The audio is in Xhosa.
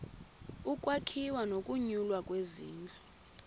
ukwakhiwa nokunyulwa kwezindlu